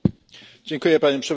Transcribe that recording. Panie Przewodniczący!